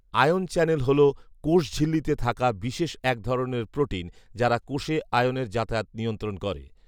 ion channel হল কোষঝিল্লীতে থাকা বিশেষ এক ধরনের প্রোটিন যারা কোষে আয়নের যাতায়াত নিয়ন্ত্রন করে